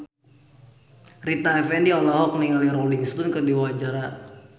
Rita Effendy olohok ningali Rolling Stone keur diwawancara